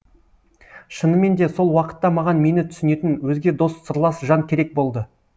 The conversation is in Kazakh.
шынымен де сол уақытта маған мені түсінетін өзге дос сырлас жан керек болды